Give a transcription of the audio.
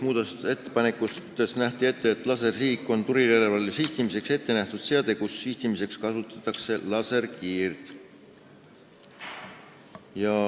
Muudatusettepanekuga nähti ette järgmist: "Lasersihik on tulirelvale sihtimiseks ettenähtud seade, kus sihtimiseks kasutatakse laserkiirt.